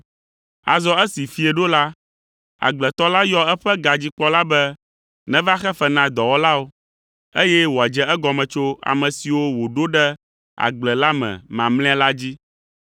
“Azɔ esi fiẽ ɖo la, agbletɔ la yɔ eƒe gadzikpɔla be neva xe fe na dɔwɔlawo, eye wòadze egɔme tso ame siwo wòɖo ɖe agble la me mamlɛa la dzi.